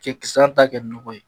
Cɛkisɛya ta kɛ nɔgɔ ye.